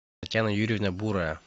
татьяна юрьевна бурая